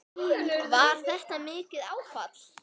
Var þetta mikið áfall?